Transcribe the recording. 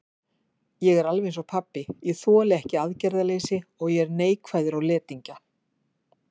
Ég er alveg einsog pabbi, ég þoli ekki aðgerðaleysi og er neikvæður á letingja.